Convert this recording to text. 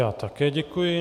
Já také děkuji.